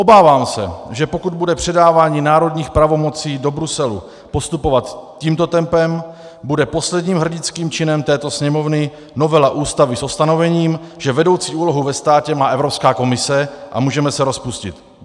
Obávám se, že pokud bude předávání národních pravomocí do Bruselu postupovat tímto tempem, bude posledním hrdinským činem této Sněmovny novela Ústavy s ustanovením, že vedoucí úlohu ve státě má Evropská komise, a můžeme se rozpustit.